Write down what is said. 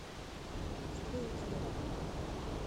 строителем